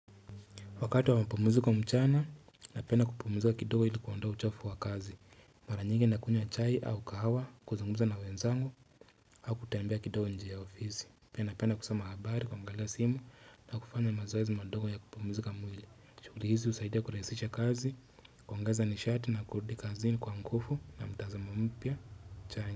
Wakati wa mapumziko mchana, napenda kupumuzika kidogo ili kuondoa uchafu wa kazi Mara nyingi nakunywa chai au kahawa kuzungumza na wenzangu au kutembea kidogo nje ya ofisi, pia napenda kusoma habari, kuangalia simu na kufanya mazoezi madogo ya kupumzika mwili, shughuli hizi husaidia kurahasisha kazi, kuangaza nishati na kurudi kazini kwa nguvu na mtazamo mpya cha.